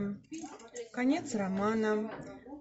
конец романа